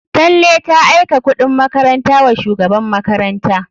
Tanle ta aika kuɗin makaranta wa shugaban makaranta.